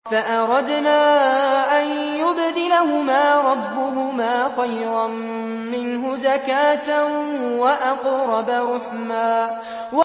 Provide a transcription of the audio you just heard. فَأَرَدْنَا أَن يُبْدِلَهُمَا رَبُّهُمَا خَيْرًا مِّنْهُ زَكَاةً وَأَقْرَبَ رُحْمًا